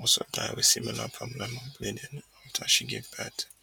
also die wit similar problem of bleeding afta she gave birth